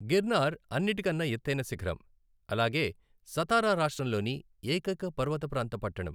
గిర్నార్ అన్నిటికన్నా ఎత్తైన శిఖరం, అలాగే సతారా రాష్ట్రంలోని ఏకైక పర్వతప్రాంత పట్టణం.